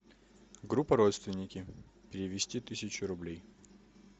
группа родственники перевести тысячу рублей